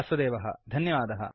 मुम्बैतः वासुदेवः धन्यवादः